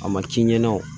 A ma ci ɲɛna